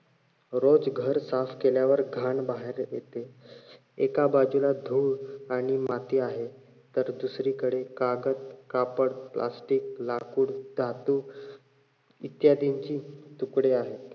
रोज घर साफ केल्यावर घाण बाहेर येते एका बाजूला धूळ आणि माती आहे तर दुसरीकडे कागद, कापड Plastic लाकूड, धातू इत्यादींची तुकडे आहेत.